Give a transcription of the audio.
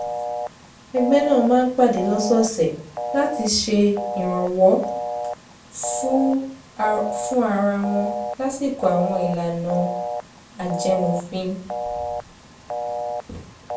ẹgbẹ́ náà máa ń pàdé lọ́sọ̀ọ̀sẹ̀ láti ṣe ìrànwọ́ fún ara wọn lásìkò àwọn ìlànà ajẹmófin